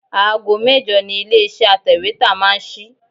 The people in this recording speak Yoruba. Aago mẹ́jọ ni ilé iṣẹ́ atẹ̀wétà máa ń sí.